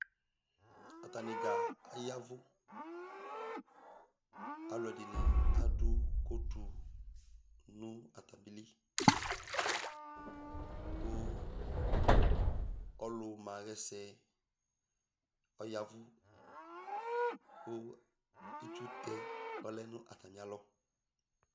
Atani dza ayavʋ Alʋɛdìní adu kotu nʋ atamili kʋ ɔlu ma ɣɛsɛ ɔyavʋ kʋ itsutɛ ɔlɛ nʋ atami alɔ